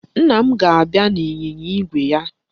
Nna m ga-abịa n'ịnyịnya igwe ya